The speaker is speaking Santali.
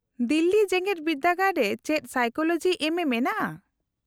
-ᱫᱤᱞᱞᱤ ᱡᱮᱜᱮᱫ ᱵᱤᱨᱫᱟᱹᱜᱟᱲ ᱨᱮ ᱪᱮᱫ ᱥᱟᱭᱠᱳᱞᱚᱡᱤ ᱮᱢᱹ ᱮ ᱢᱮᱱᱟᱜᱼᱟ ?